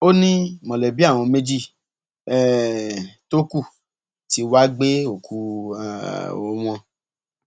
ó ní mọlẹbí àwọn méjì um tó kù tí wàá gbé òkú um wọn